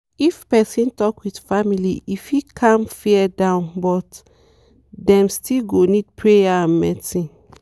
if person talk with family e fit calm fear down but dem still go need prayer and medicine.